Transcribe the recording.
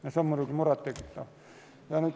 See on muidugi muret tekitav.